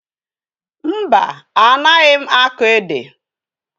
Mba, anaghị akọ ede.